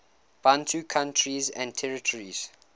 bantu countries and territories